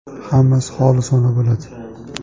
Hammasi xolisona bo‘ladi”.